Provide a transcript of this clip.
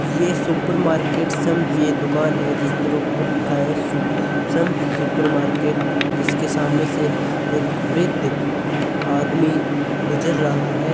या supermarket की दुकान है जिसे ऊपर लिखा है सम सुपर मार्केट जिसके सामने से एक वर्द आदमी गुजर रहा है।